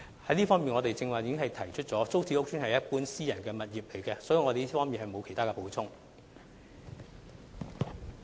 在這方面，我剛才已說明，租置屋邨與一般私人物業無異，所以我在這方面並沒有補充。